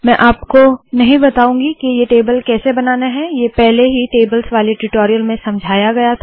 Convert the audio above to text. मैं आपको नहीं बताउंगी के ये टेबल कैसे बनाना है ये पहले ही टेबल्स वाले ट्यूटोरियल में समझाया गया था